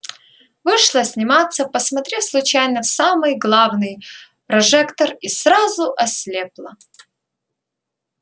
вышла сниматься посмотрев случайно в самый главный прожектор и сразу ослепла